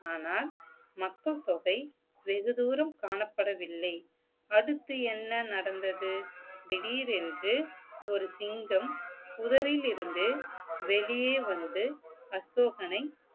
ஆனால் மக்கள்தொகை வெகு தூரம் காணப்படவில்லை அடுத்து என்ன நடந்தது திடீரென்று ஒரு சிங்கம் புதரில் இருந்து வெளியே வந்து அசோகனை